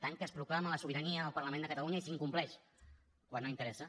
tant que es proclama la sobirania del parlament de catalunya i s’incompleix quan no interessa